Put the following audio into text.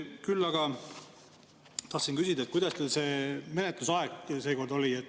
Küll aga tahtsin küsida, kuidas teil see menetlusaeg seekord oli.